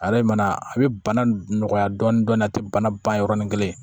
a bɛ bana nɔgɔya dɔɔnin dɔɔnin a tɛ bana ban yɔrɔnin kelen